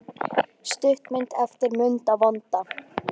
Stuttmynd eftir Munda vonda